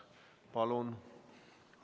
Palun!